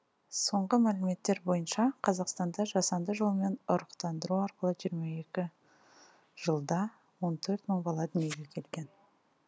соңғы мәліметтер бойынша қазақстанда жасанды жолмен ұрықтандыру арқылы жиырма екі жылда он төрт мың бала дүниеге келген